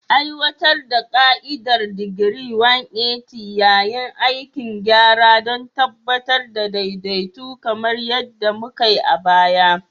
Aiwatar da ka'idar digiri 180 yayin aikin gyara don tabbatar da daidaito kamar yadda mukai a baya.